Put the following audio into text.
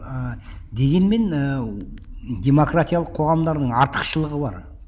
ыыы дегенмен ііі демократиялық қоғамдардың артықшылығы бар